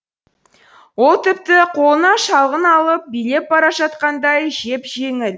ол тіпті қолына шалғы алып билеп бара жатқандай жеп жеңіл